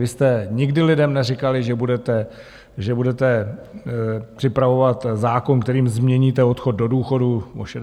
Vy jste nikdy lidem neříkali, že budete připravovat zákon, kterým změníte odchod do důchodu na 68 let.